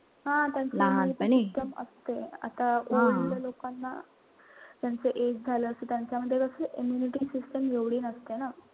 immunity system असते. आता लोकांना त्यांचं age झालं. त्यांच्यामध्ये अशी immunity system एवढी नसते ना.